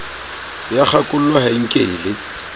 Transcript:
ya kgakollo ha e nkele